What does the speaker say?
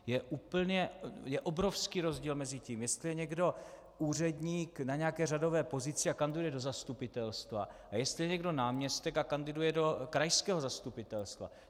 Je obrovský rozdíl mezi tím, jestli je někdo úředník na nějaké řadové pozici a kandiduje do zastupitelstva, a jestli je někdo náměstek a kandiduje do krajského zastupitelstva.